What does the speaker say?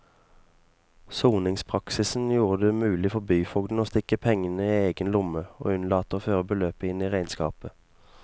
Soningspraksisen gjorde det mulig for byfogden å stikke pengene i egen lomme og unnlate å føre beløpet inn i regnskapet.